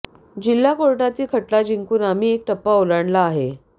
जिल्हा कोर्टातील खटला जिंकून आम्ही एक टप्पा ओलांडला आहे